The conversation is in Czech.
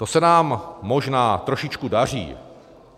To se nám možná trošičku daří.